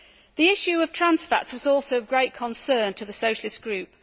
The issue of trans fats was also of great concern to the Socialist Group.